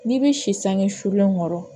N'i bɛ si sange sulen kɔrɔ